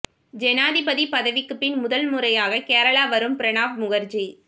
ஜனாதிபதி பதவிக்கு பின் முதல் முறையாக கேரளா வரும் பிரணாப் முகர்ஜி